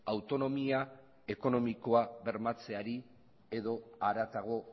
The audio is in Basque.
autonomia ekonomikoa bermatzeari edo haratago